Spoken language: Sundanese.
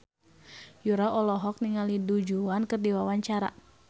Yura olohok ningali Du Juan keur diwawancara